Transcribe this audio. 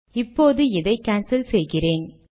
இப்போது இதை கான்சல் செய்கிறேன்